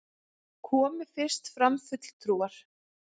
Komu fyrst fram fulltrúar